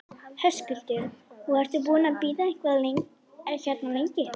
Höskuldur: Og ertu búinn að bíða eitthvað hérna lengi?